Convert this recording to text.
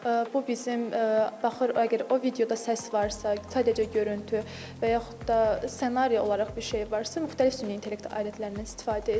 Bu bizim baxır əgər o videoda səs varsa, sadəcə görüntü və yaxud da ssenari olaraq bir şey varsa, müxtəlif süni intellekt alətlərindən istifadə edilir.